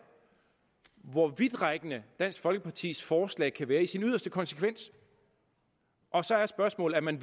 hvor vidtrækkende dansk folkepartis forslag kan være i sin yderste konsekvens og så er spørgsmålet om man